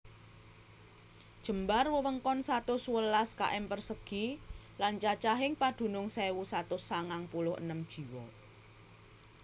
Jembar wewengkon satus sewelas km persegi lan cacahing padunung sewu satus sangang puluh enem jiwa